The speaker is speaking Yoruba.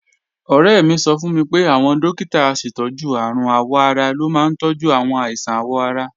Ọ̀rẹ́ mi sọ fún mi pé àwọn dókítà aṣètọ́jú àrùn àwọ̀-ara ló máa ń tọ́jú àwọn àìsàn àwọ̀ ara